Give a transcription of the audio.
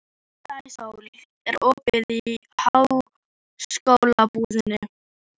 Sæsól, er opið í Háskólabúðinni?